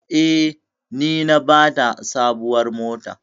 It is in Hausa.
Eh, ni na bata sabuwar mota.